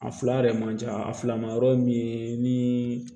A fila yɛrɛ man ca a fila ma yɔrɔ ye min ye ni